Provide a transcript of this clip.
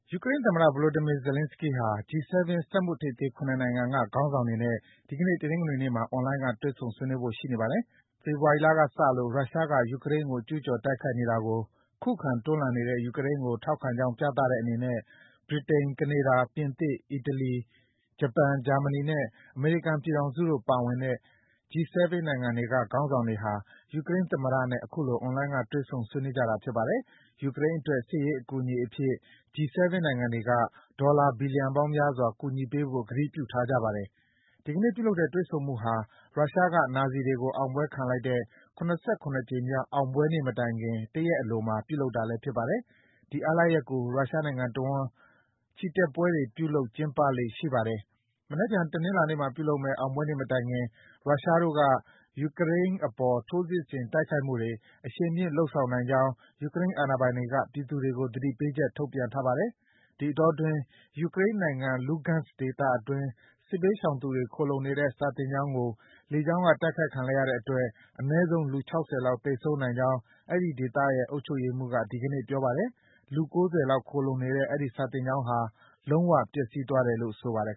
ယူကရိန်းသမ္မတ Volodymyr Zelenskyy ဟာ G-7 စက်မှုထိပ်သီး ၇ နိုင်ငံက ခေါင်းဆောင်တွေနဲ့ ဒီကနေ့ တနင်္ဂနွေနေ့မှာ အွန်လိုင်းက တွေ့ဆုံဆွေးနွေးဖို့ ရှိနေပါတယ်။ ဖေဖော်ဝါရီလကစလို့ ရုရှားက ယူကရိန်းကို ကျူးကျော်တိုက်ခိုက်နေတာကို ခုခံတွန်းလှန်နေတဲ့ ယူကရိန်းကို ထောက်ခံကြောင်း ပြသတဲ့အနေနဲ့ ဗြိတိန်၊ ကနေဒါ၊ ပြင်သစ်၊ အီတလီ၊ ဂျပန်၊ ဂျာမနီနဲ့ အမေရိကန်ပြည်ထောင်စုတို့ ပါဝင်တဲ့ G-7 နိုင်ငံတွေက ခေါင်းဆောင်တွေဟာ ယူကရိန်းသမ္မတနဲ့ အခုလို အွန်လိုင်းက တွေ့ဆုံဆွေးနွေးကြတာ ဖြစ်ပါတယ်။ ယူကရိန်းအတွက် စစ်ရေးအကူအညီအဖြစ် G-7 နိုင်ငံတွေက ဒေါ်လာ ဘီလီယံပေါင်းများစွာ ကူညီပေးဖို့ ကတိပြုထားကြပါတယ်။ ဒီကနေ့ပြုလုပ်တဲ့ တွေ့ဆုံမှုဟာ ရုရှားက နာဇီတွေကို အောင်ပွဲခံလိုက်တဲ့ ၇၇ ကြိမ်မြောက် အောင်ပွဲနေ့မတိုင်ခင် တရက်အလိုမှာ ပြုလုပ်တာလည်း ဖြစ်ပါတယ်။ ဒီအားလပ်ရက်ကို ရုရှားနိုင်ငံတဝန်း ချီတက်ပွဲတွေ ပြုလုပ် ကျင်းပကြလေ့ ရှိပါတယ်။ မနက်ဖြန် တနင်္လာနေ့မှာပြုလုပ်မယ့် အောင်ပွဲနေ့မတိုင်ခင် ရုရှားတို့က ယူကရိန်းအပေါ် ထိုးစစ်ဆင် တိုက်ခိုက်မှုတွေ အရှိန်မြှင့် လုပ်ဆောင်နိုင်ကြောင်း ယူကရိန်းအာဏာပိုင်တွေက ပြည်သူတွေကို သတိပေးချက် ထုတ်ပြန်ထားပါတယ်။ ဒီအတောအတွင်း ယူကရိန်းနိုင်ငံ Lugansk ဒေသအတွင်း စစ်ဘေးရှောင်သူတွေ ခိုလှုံနေတဲ့ စာသင်ကျောင်းကို လေကြောင်းက တိုက်ခိုက်ခံလိုက်ရတဲ့အတွက် အနည်းဆုံး လူ ၆၀ လောက် သေဆုံးနိုင်ကြောင်း အဲဒီဒေသရဲ့ အုပ်ချုပ်ရေးမှူးက ဒီကနေ့ ပြောပါတယ်။ လူ ၉၀ လောက် ခိုလှုံနေတဲ့ အဲဒီစာသင်ကျောင်းဟာ လုံးဝ ပျက်စီးသွားတယ်လို့ ဆိုပါတယ်